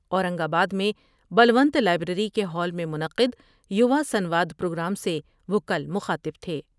اورنگ آباد میں بلونت لائبریری کے ہال میں منعقدیواسنواد پروگرام سے وہ کل مخاطب تھے ۔